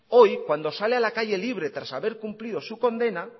hoy cuando sale a la calle libre tras haber cumplido su condena